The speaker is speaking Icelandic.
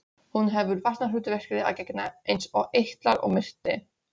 Hún hefur varnarhlutverki að gegna eins og eitlar og milti.